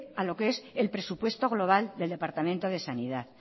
a lo que es el presupuesto global del departamento de sanidad